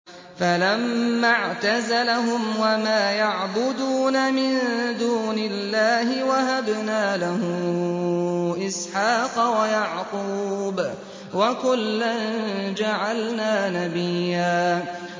فَلَمَّا اعْتَزَلَهُمْ وَمَا يَعْبُدُونَ مِن دُونِ اللَّهِ وَهَبْنَا لَهُ إِسْحَاقَ وَيَعْقُوبَ ۖ وَكُلًّا جَعَلْنَا نَبِيًّا